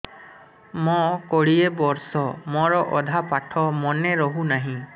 ମୋ କୋଡ଼ିଏ ବର୍ଷ ମୋର ଅଧା ପାଠ ମନେ ରହୁନାହିଁ